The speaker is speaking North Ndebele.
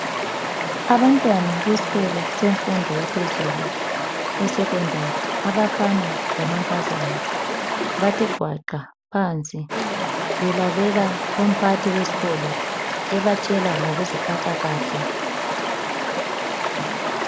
Abantwana beskolo semfundo yaphezulu, esekhondari, abafana lamankazana, bathe gwaqa phansi, belalela umphakathi wesikolo ebatshela ngokuziphatha kahle.